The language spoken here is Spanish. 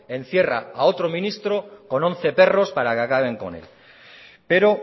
encierra a otro ministro con once perros para que acaben con él pero